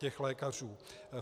Těch lékařů.